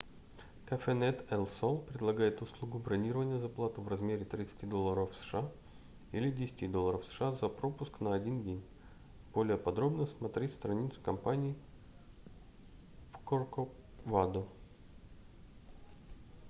cafenet el sol предлагает услугу бронирования за плату в размере 30 долларов сша или 10 долларов сша за пропуск на один день более подробно см страницу компании в corcovado